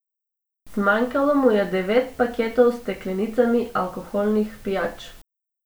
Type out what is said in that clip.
Zmanjkalo mu je devet paketov s steklenicami alkoholnih pijač.